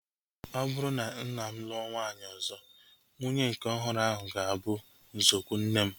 Ọ bụrụ na mma m lụọ nwaanyị ọzọ, nwunye nke ọhụrụ ahu ga-abụ nzọụkwụ nne m